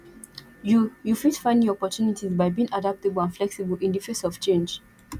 you you fit find new opportunties by being adaptable and flexible in di face of change